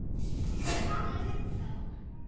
Ég skal tala við þá.